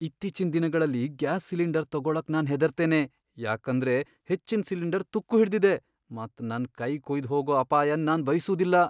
ಇತ್ತೀಚಿನ್ ದಿನಗಳಲ್ಲಿ gas cylinder ತಗೋಳಕ್ ನಾನ್ ಹೆದರ್ತ್ತೇನೆ ಯಾಕಂದ್ರೆ ಹೆಚ್ಚಿನ್ ಸಿಲಿಂಡರ್ ತುಕ್ಕು ಹಿಡ್ದಿದೆ ಮತ್ ನನ್ ಕೈ ಕುಯ್ದು ಹೋಗೋ ಅಪಾಯನ್ ನಾನ್ ಬಯ್ಸುದಿಲ್ಲ.